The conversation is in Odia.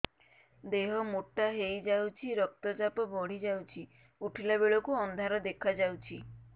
ଦେହ ମୋଟା ହେଇଯାଉଛି ରକ୍ତ ଚାପ ବଢ଼ି ଯାଉଛି ଉଠିଲା ବେଳକୁ ଅନ୍ଧାର ଦେଖା ଯାଉଛି